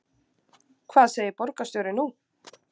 Hvað segir borgarstjóri nú?